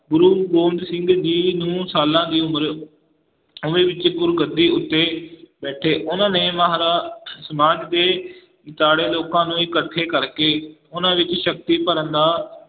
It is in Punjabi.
ਗੁਰੂ ਗੋਬਿੰਦ ਸਿੰਘ ਜੀ ਨੂੰ ਸਾਲਾਂ ਦੀ ਉਮਰ ਵਿੱਚ ਗੁਰਗੱਦੀ ਉੱਤੇ ਬੈਠੇ ਉਹਨਾਂ ਨੇ ਸਮਾਜ ਦੇ ਦੁਆਲੇ ਲੋਕਾਂ ਨੂੰ ਇਕੱਠੇ ਕਰਕੇ ਉਹਨਾਂ ਵਿੱਚ ਸ਼ਕਤੀ ਭਰਨ ਦਾ